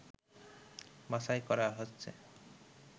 বাছাই করা হচ্ছে